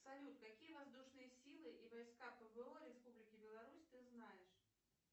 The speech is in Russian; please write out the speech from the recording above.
салют какие воздушные силы и войска пво республики беларусь ты знаешь